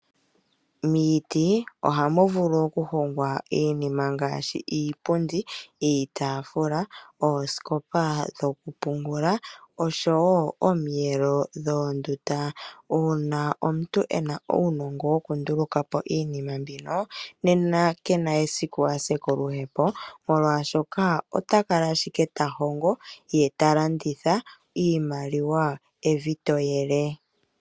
Miiti ohamu vulu okuhongwa iinima ngaashi iipundi, iitaafula, ooskopa dhokupungula, osho wo omiyelo dhoondunda. Uuna omuntu e na uunongo wokunduluka po iinima mbino, nena ke na esiku a se koluhepo, molwashoka ota kala ashike ta hongo, ye ta landitha, iimaliwa evi to yele.